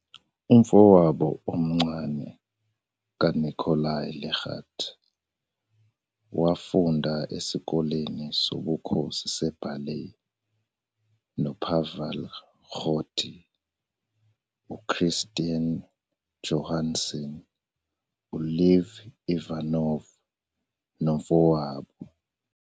Umfowabo omncane kaNikolai Legat, wafunda esikoleni sobukhosi se-ballet noPavel Gerdt, uChristian Johansson, uLev Ivanov nomfowabo.